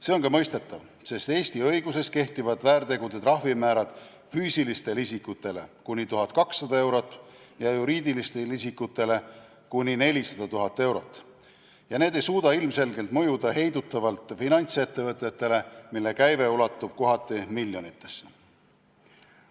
See on ka mõistetav, sest Eesti õiguses kehtivad väärtegude eest määratavate trahvide määrad on füüsilistel isikutel kuni 1200 eurot ja juriidilistel isikutel kuni 400 000 eurot ning need trahvid ei suuda ilmselgelt mõjuda heidutavalt finantsettevõtetele, mille käive ulatub kohati miljonitesse.